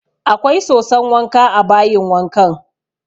Akwai soson wanka a bayin wankan